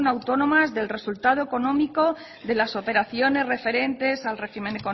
autónoma del resultado económico de las operaciones referentes al régimen